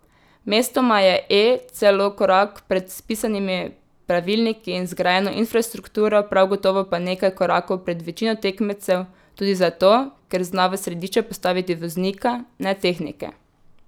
Mestoma je E celo korak pred spisanimi pravilniki in zgrajeno infrastrukturo, prav gotovo pa nekaj korakov pred večino tekmecev, tudi zato, ker zna v središče postaviti voznika, ne tehnike.